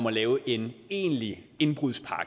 at lave en egentlig indbrudspakke